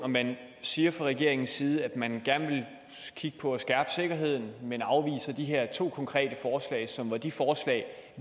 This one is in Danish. man siger fra regeringens side at man gerne vil kigge på at skærpe sikkerheden men afviser de her to konkrete forslag som var de forslag